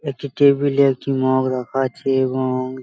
একটি টেবিল -এ একটি মগ রাখা আছে এবং --